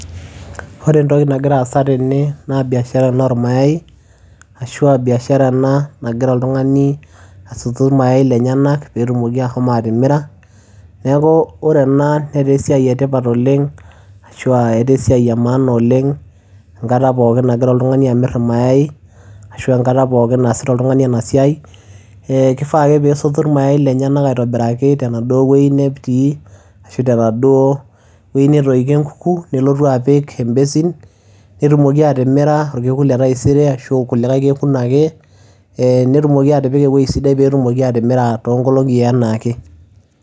Ore entoki nagira aasa tene naa biashara ena ormayai ashu aa biashara ena nagira oltung'ani asotu irmayai lenyenak peetumoki ashomo atimira. Neeku ore ena netaa esiai e tipat oleng' ashu aa eta esiai e maana oleng' enkata pookin nagira oltung'ani amir irmayai ashu enkata pookin naasita oltung'ani ena siai. Ee kifaa ake peesotu irmayai lenyenak aitobiraki tenaduo wuei netii ashu tenaduo wuei netoikio enkuku, nelotu apik embasin, netumoki atimira orkekun le taisere ashu kulikai kekun ake ee netumoki atipika ewuei sidai peetumoki atimira too nkolong'i enaa ake.